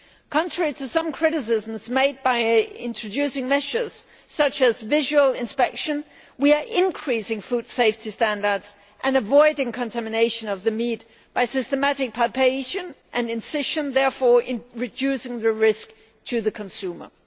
Contrary to some criticisms made about introducing measures such as visual inspection, we are increasing food safety standards and avoiding contamination of the meat by systematic palpation and incision, therefore reducing the risk to the consumer.